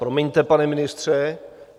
Promiňte, pane ministře.